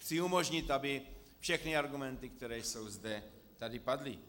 Chci umožnit, aby všechny argumenty, které jsou zde, tady padly.